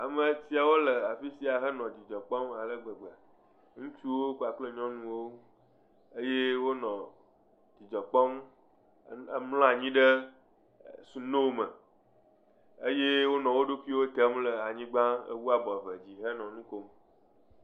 Ame siawo le afiya he nɔ dzidzɔ kpɔm alegbegbe. Ŋutsuwo kpakple nyɔnuwo eye wò nɔ dzidzɔ kpɔm ɖe. È mlɔ anyi ɖe snow me eye wò nɔ wo ɖokuiwò ɖem le anyigba he kɔ abo henɔ nu kpɔm.